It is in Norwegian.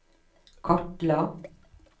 kartla